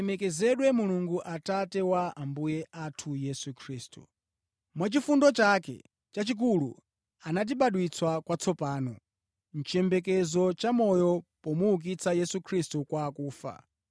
Alemekezedwe Mulungu, Atate wa Ambuye athu Yesu Khristu. Mwachifundo chake chachikulu anatibadwitsa kwatsopano, mʼchiyembekezo chamoyo pomuukitsa Yesu Khristu kwa akufa,